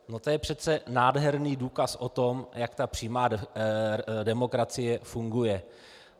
No to je přece nádherný důkaz o tom, jak ta přímá demokracie funguje.